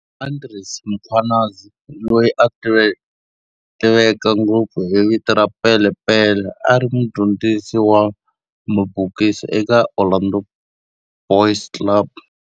Andries Mkhwanazi, loyi a tiveka ngopfu hi vito ra Pele Pele, a ri mudyondzisi wa mabokisi eka Orlando Boys Club.